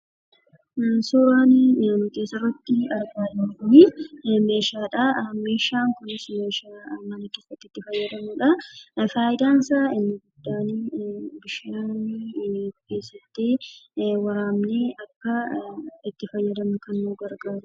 Suuraan asirratti argaa jirruu kunii meeshaadhaa. Meeshaan kunis meeshaa mana keenyatti itti fayyadamnudha. Fayidaan isaa inni guddaan bishaan keessatti waraabnee akka itti fayyadamnu kan nu gargaarudha.